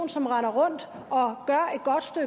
som render rundt og